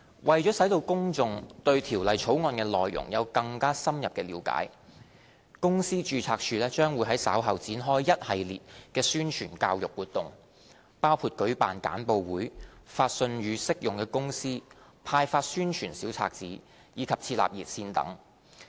為使公眾對《條例草案》的內容有更深入了解，公司註冊處將會在稍後開展一系列的宣傳教育活動，包括舉辦簡報會、發信予適用公司、派發宣傳小冊子，以及設立熱線等。